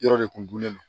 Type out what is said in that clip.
Yɔrɔ de kun gunnen don